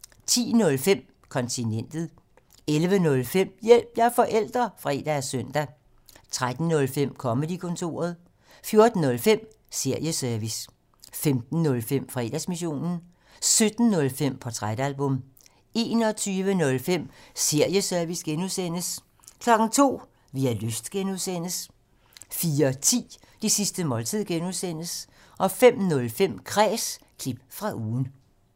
10:05: Kontinentet 11:05: Hjælp – jeg er forælder! (fre og søn) 13:05: Comedy-kontoret 14:05: Serieservice 15:05: Fredagsmissionen 17:05: Portrætalbum 21:05: Serieservice (G) 02:00: Vi har lyst (G) 04:10: Det sidste måltid (G) 05:05: Kræs – klip fra ugen